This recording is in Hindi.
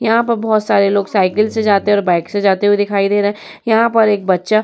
यहाँ पर बहोत सारे लोग साइकिल से जाते और बाइक से जाते हुए दिखाई दे रहे हैं। यहाँ पर एक बच्चा --